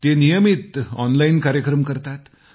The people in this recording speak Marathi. ते नियमित ऑनलाइन कार्यक्रम करतात